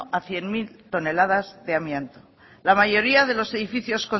a cien mil toneladas de amianto la mayoría de los edificios